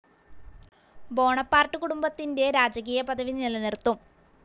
Bonaparte കുടുംബത്തിന്റെ രാജകീയ പദവി നിലനിർത്തും.